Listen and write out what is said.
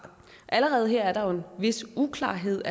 allerede her er der jo en vis uklarhed